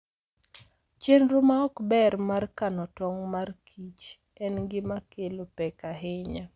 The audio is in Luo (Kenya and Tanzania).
Chenro ma ok ber mar kano tong' mag kich en gima kelo pek ahinya.